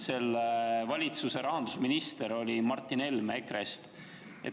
Selle valitsuse rahandusminister oli Martin Helme EKRE-st.